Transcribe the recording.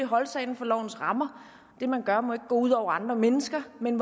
holde sig inden for lovens rammer og det man gør må ikke gå ud over andre mennesker men